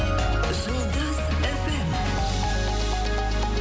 жұлдыз эф эм